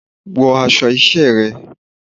Wọ aṣọ iṣẹ́ rẹ̀!